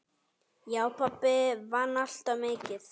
Já, pabbi vann alltaf mikið.